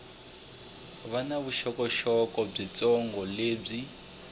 va na vuxokoxoko byitsongo lebyi